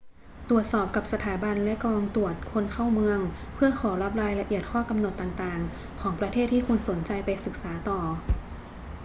ตรวจสอบกับสถาบันและกองตรวจคนเข้าเมืองเพื่อขอรับรายละเอียดข้อกำหนดต่าง ๆ ของประเทศที่คุณสนใจไปศึกษาต่อ